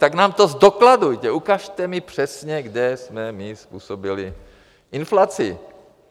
Tak nám to zdokladujte, ukažte mi přesně, kde jsme my způsobili inflaci.